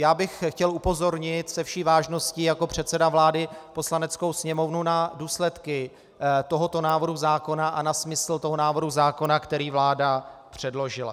Já bych chtěl upozornit se vší vážností jako předseda vlády Poslaneckou sněmovnu na důsledky tohoto návrhu zákona a na smysl toho návrhu zákona, který vláda předložila.